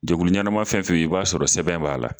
Jɛkulu ɲɛnama fɛn fɛn bi i b'a sɔrɔ sɛbɛn b'a la